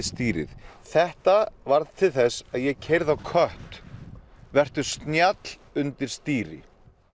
stýrið þetta varð til þess að ég keyrði á kött vertu snjall undir stýri